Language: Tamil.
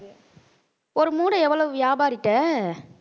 ஒரு மூடை எவ்வளவு வியாபாரிகிட்ட